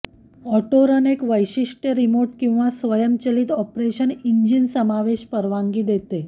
autorun एक वैशिष्ट्य remote किंवा स्वयंचलित ऑपरेशन इंजिन समावेश परवानगी देते